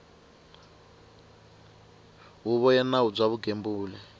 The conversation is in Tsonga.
huvo ya nawu bya vugembuli